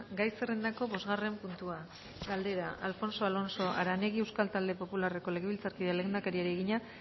gai zerrendako bosgarren puntua galdera alfonso alonso aranegui euskal talde popularreko legebiltzarkideak lehendakariari egina